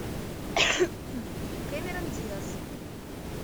кэмерон диаз